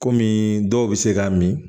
Kɔmi dɔw bɛ se k'a min